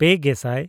ᱯᱮᱼᱜᱮᱥᱟᱭ